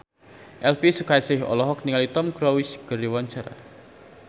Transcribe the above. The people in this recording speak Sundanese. Elvi Sukaesih olohok ningali Tom Cruise keur diwawancara